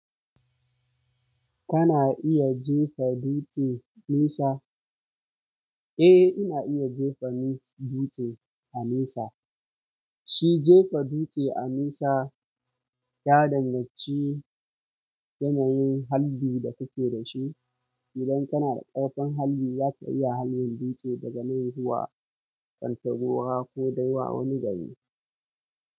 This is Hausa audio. Kana iya jefa dutse nisa? Eh ina iya jefa nu--dutse a nesa. Shi jefa dutse a nisa ya danganci yanayin harbi da kake da shi. Idan kana da ƙarfin halbi zaka iya halbin dutse daga nan zuwa Kantagora ko dai wa wani gari.